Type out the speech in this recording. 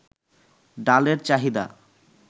ডালের চাহিদা